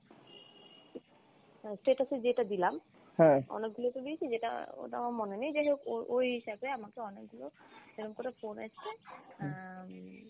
তা status এ যেটা দিলাম অনেকগুলো তো দিয়েছি যেটা ওটা আমার মনে নেই যাইহোক ও~ ওই হিসেবে আমাকে অনেকগুলো এরম করে phone এসছে আহ উম